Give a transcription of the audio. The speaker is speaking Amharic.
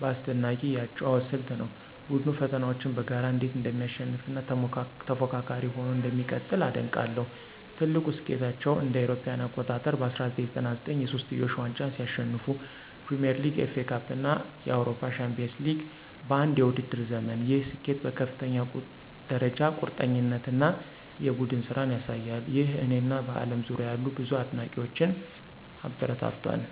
በአስደናቂ የአጨዋወት ስልት ነው። ቡድኑ ፈተናዎችን በጋራ እንዴት እንደሚያሸንፍ እና ተፎካካሪ ሆኖ እንደሚቀጥል አደንቃለሁ። ትልቁ ስኬታቸው እ.ኤ.አ. በ1999 የሶስትዮሽ ዋንጫን ሲያሸንፉ ፕሪሚየር ሊግ፣ ኤፍኤ ካፕ እና የአውሮፓ ቻምፒዮንስ ሊግ በአንድ የውድድር ዘመን፣ ይህ ስኬት በከፍተኛ ደረጃ ቁርጠኝነት እና የቡድን ስራን ያሳያል። ይህ እኔን እና በአለም ዙሪያ ያሉ ብዙ አድናቂዎችን አበረታቷል